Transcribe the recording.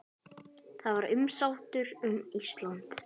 Það var umsátur um Ísland.